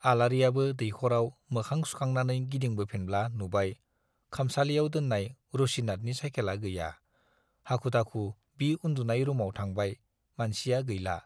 आलारियाबो दैखराव मोखां सुखांनानै गिदिंबोफिनब्ला नुबाय - खामसालियाव दोन्नाय रुसिनाथनि साइकेला गैया, हाखु-दाखु बि उन्दुनाय रुमाव थांबाय - मानसिया गैला।